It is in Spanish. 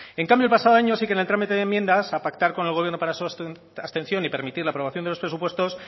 en cambio el pasado año sí que en el trámite de enmiendas a pactar con el gobierno para abstención y permitir la aprobación de los presupuestos